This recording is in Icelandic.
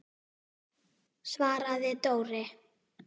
svaraði Dóri.